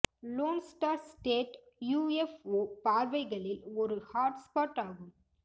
loan Star State UFO பார்வைகளில் ஒரு hot spot ஆகும்